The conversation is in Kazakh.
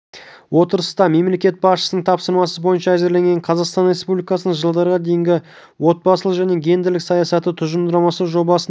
отырыста мемлекет басшысының тапсырмасы бойынша әзірленген қазақстан республикасының жылдарға дейінгі отбасылық және гендерлік саясаты тұжырымдамасы жобасының